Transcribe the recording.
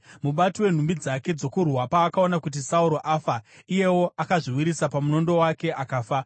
Mubati wenhumbi dzake dzokurwa paakaona kuti Sauro afa, iyewo akazviwisira pamunondo wake akafa.